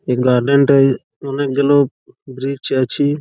এই গার্ডেন -টাই অনেক গুলো ব্রিজ আছে।